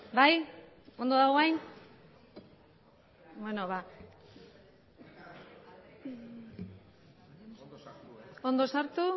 bai ondo dago orain ondo sartu